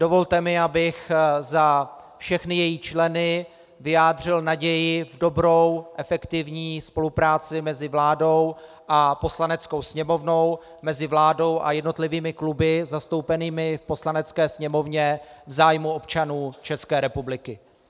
Dovolte mi, abych za všechny její členy vyjádřil naději v dobrou, efektivní spolupráci mezi vládou a Poslaneckou sněmovnou, mezi vládou a jednotlivými kluby zastoupenými v Poslanecké sněmovně v zájmu občanů České republiky.